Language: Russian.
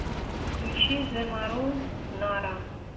включи зэ мару нара